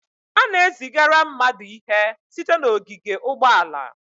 A na-ezigara mmadụ ihe site n'ogige ụgbọala.